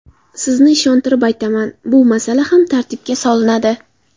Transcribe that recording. Sizni ishontirib aytaman, bu masala ham tartibga solinadi.